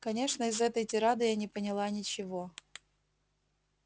конечно из этой тирады я не поняла ничего